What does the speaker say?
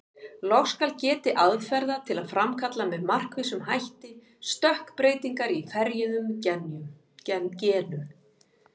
Loks skal getið aðferða til að framkalla með markvissum hætti stökkbreytingar í ferjuðum genum.